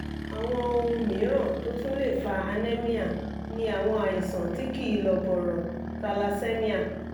àwọn ohun mìíràn tó tún lè fa anemia ni àwọn àìsàn tí kì í lọ bọ̀rọ̀/thalassemia